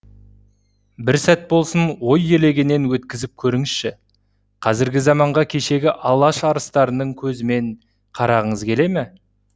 бір сәт болсын ой елегінен өткізіп көріңізші қазіргі заманға кешегі алаш арыстарының көзімен қарағыңыз келе ме